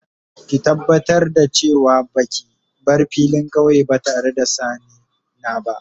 Ki tabatar da ce wa ba ki bar filin kauye ba tare da sanni na ba.